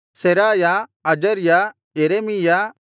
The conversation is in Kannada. ಸೆರಾಯ ಅಜರ್ಯ ಯೆರೆಮೀಯ